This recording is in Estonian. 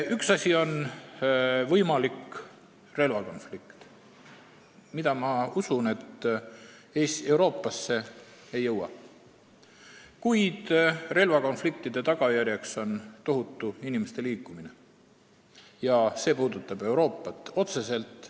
Üks asi on võimalik relvakonflikt Euroopas, mille puhul ma usun, et see siia ei jõua, kuid mujal toimuvate relvakonfliktide tagajärg on tohutu inimeste liikumine, mis puudutab Euroopat otseselt.